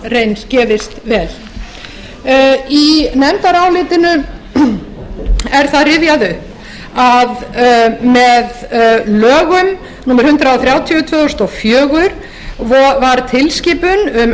reynst gefist vel í nefndarálitinu er það rifjað upp að með lögum númer hundrað þrjátíu tvö þúsund og fjögur var tilskipun um